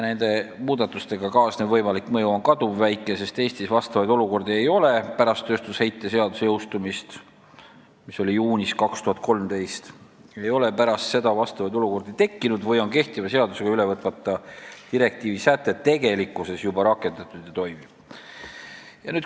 Nende muudatustega kaasnev võimalik mõju on kaduvväike, sest Eestis ei ole vastavaid olukordi pärast tööstusheite seaduse jõustumist juunis 2013 tekkinud või on kehtiva seadusega üle võtmata direktiivi sätet tegelikkuses juba rakendatud, see toimib.